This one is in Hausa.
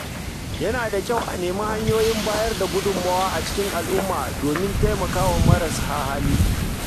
Yana da kyau a nemi hanyoyin bayar da gudunmawa a cikin al’umma domin taimakawa marasa hali.